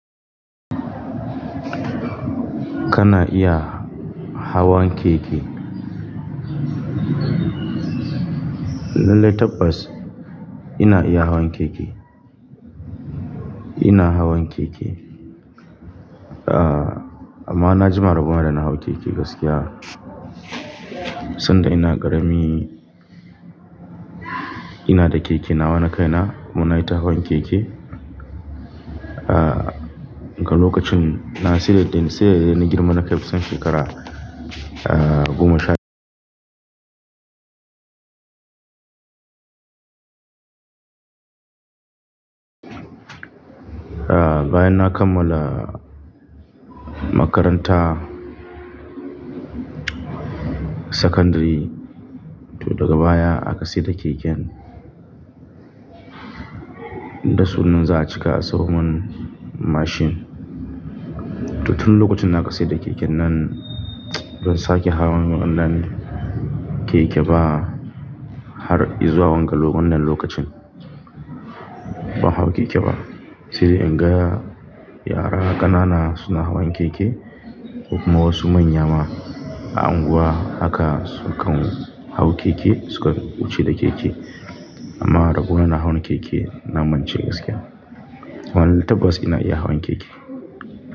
Kana iya hawan keke? Lallai tabbas ina iya hawan keke. Ina hawan keke. Amma na jima rabona da na hau keke gaskiya. Tunda ina karami, ina da keke nawa na kai na. Kuma nayi ta hawan keke. Ah, ga lokacin na siye ta sai na girma na kai kusan shekara, ah, goma sha ah, bayan na kammala makaranta sakandiri, to daga baya aka saida keken da sunan za a cika a sayo mun mashin. To tun lokacin da aka saida keken nan, ban sake hawan wannan keke ba har izuwa wannan lokacin. Ban hau keke ba. Sai in ga ya yara ƙanana suna hawan keke kuma wasu manya ma a anguwa haka sukan hau keke suka wuce da keke. Amma rabona na hawan keke na mance gaskiya. Lallai tabbas ina iya hawan keke.